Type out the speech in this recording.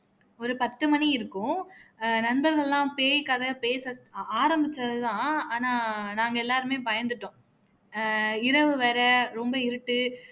ஒரு பத்து மணி இருக்கும் ஆஹ் நண்பர்கள் எல்லாம் பேயி கதை பேச ஆரமிச்சது தான் ஆனா நாங்க எல்லாருமே பயந்துட்டோம் ஆஹ் இரவு வேற ரொம்ப இருட்டு